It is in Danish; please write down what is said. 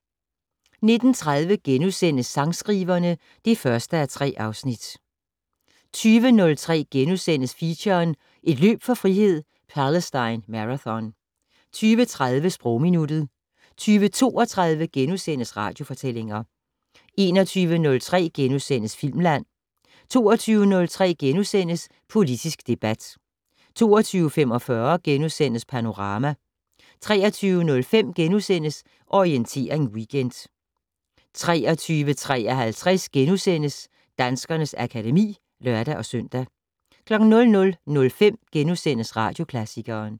19:30: Sangskriverne (1:3)* 20:03: Feature: Et løb for frihed - Palestine Marathon * 20:30: Sprogminuttet 20:32: Radiofortællinger * 21:03: Filmland * 22:03: Politisk debat * 22:45: Panorama * 23:05: Orientering Weekend * 23:53: Danskernes akademi *(lør-søn) 00:05: Radioklassikeren *